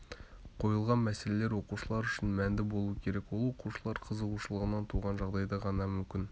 қойылған мәселелер оқушылар үшін мәнді болу керек ол оқушылар қызығушылығынан туған жағдайда ғана мүмкін